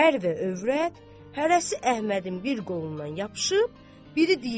Ər və övrət hərəsi Əhmədin bir qolundan yapışıb, biri deyir: